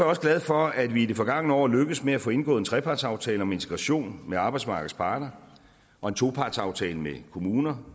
også glad for at vi i det forgangne år lykkedes med at få indgået en trepartsaftale om integration med arbejdsmarkedets parter og en topartsaftale med kommunerne